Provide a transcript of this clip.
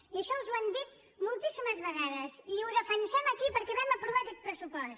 i això els ho hem dit moltíssimes vegades i ho defensem aquí perquè vam aprovar aquest pressupost